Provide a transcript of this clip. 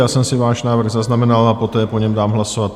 Já jsem si váš návrh zaznamenal a poté o něm dám hlasovat.